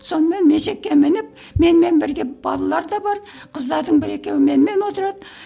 сонымен есекке мініп менімен бірге балалар да бар қыздардың бір екеуі менімен отырады